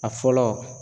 A fɔlɔ